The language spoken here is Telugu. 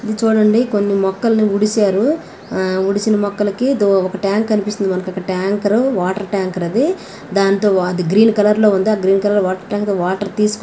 ఇది చూడండి కొన్ని మొక్కలని ఉడిశారు ఉడిసిన మొక్కలకి ఇదో ఒక టాంక్ కనిపిస్తుంది మనకక్కడ టంకర్ వాటర్ ట్యాంకర్ అది దాంతో వా--గ్రీన్ కలర్ లో ఉంది అది ఆ green colour water tanker water తెసుకొని--